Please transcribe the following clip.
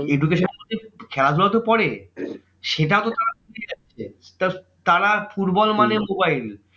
Education খেলাধুলা তো পরে সেটাও তারা football মানে mobile